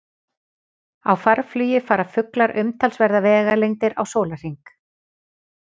Á farflugi fara fuglar umtalsverðar vegalengdir á sólarhring.